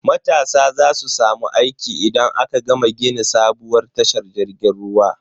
Matasa za su samu aiki idan aka gama gini sabuwar tashar jirgin ruwa.